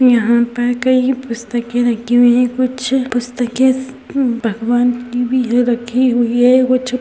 यहाँ पर कई पुस्तके रखी हुईं है। कुछ पुस्तके स् न् भगवान की भी है रखी हुयी है। एगो छ --